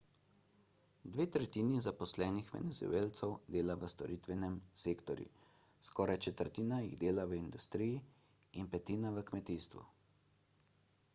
dve tretjini zaposlenih venezuelcev dela v storitvenem sektorju skoraj četrtina jih dela v industriji in petina v kmetijstvu